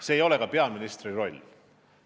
See ei ole ka peaministri roll.